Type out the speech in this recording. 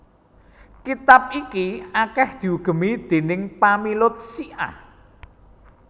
Kitab iki akèh diugemi déning pamilut Syiah